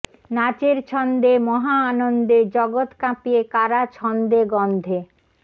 নাচের ছন্দে মহা আনন্দে জগৎ কাঁপিয়ে কারা ছন্দে গন্ধে